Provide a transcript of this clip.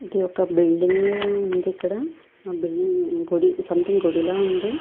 ఇది ఒక బిల్డింగ్ ఉంది ఇక్కడ. ఆ బిల్డింగ్ సం థింగ్ గుడిలా ఉంది.